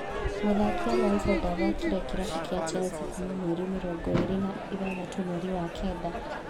Mũthaki Alonso ndathakĩire kĩrabu kĩa Chelsea Kuma mweri mĩrongo ĩrĩ na ithathatũ mweri wa kenda